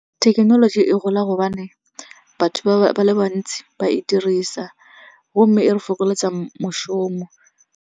Thekenoloji e gola gobane batho ba le bantsi ba e dirisa gomme e re fokoletsa moshomo.